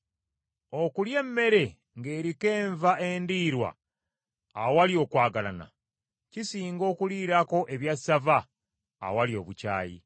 Okulya emmere ng’eriko enva endiirwa awali okwagalana, kisinga okuliirako ebyassava awali obukyayi.